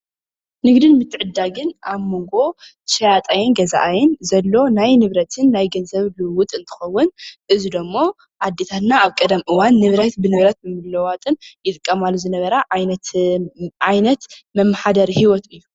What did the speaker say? ንግድን ምትዕድዳግን ኣብ ሞንጎ ሸያጣይን ገዛኣይን ዘሎ ናይ ንብረትን ናይ ገንዘብን ልውውጥ እንትከውን እዚ ደሞ ኣዴታትና ኣብ ቀደም እዋን ንብረት ብንብረት ብምልልዋጥን ይጥቀማሉ ዝነበራ ዓይነት ዓይነት መመሓደሪ ሂወት እዩ።